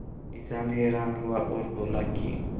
किसान हैरान हुआ और बोला कि